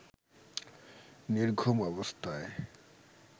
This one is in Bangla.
নির্ঘুম অবস্থায়